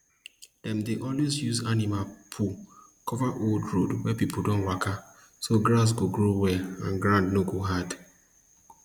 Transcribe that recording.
dem dey always use animal poo cover old road wey people don waka so grass go grow well and ground no go hard